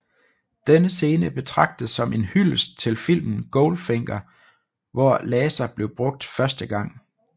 Denne scene betragtes som en hyldest til filmen Goldfinger hvor laser blev brugt første gang